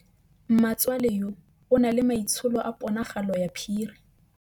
Mmatswale yo, o na le maitsholô a ponagalo ya phiri.